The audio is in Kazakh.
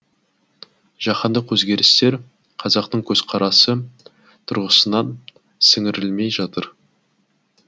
жаһандық өзгерістер қазақтың көзқарасы тұрғысынан сіңірілмей жатыр